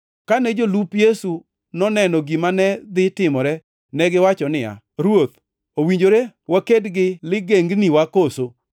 Kane jolup Yesu noneno gima ne dhi timore, negiwacho niya, “Ruoth, owinjore waked gi ligengniwa koso?”